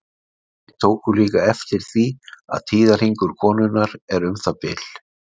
Þeir tóku líka eftir því að tíðahringur konunnar er um það bil.